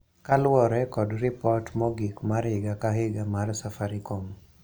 Kaluwore kod ripot mogik mar higa ka higa mar Safaricom,